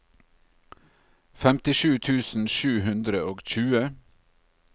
femtisju tusen sju hundre og tjue